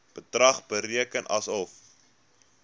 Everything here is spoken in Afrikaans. bedrag bereken asof